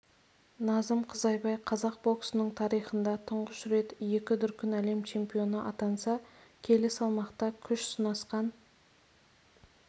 назым қызайбай қазақ боксының тарихында тұңғыш рет екі дүркін әлем чемпионы атанса келі салмақта күш сынасқан